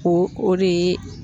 o de ye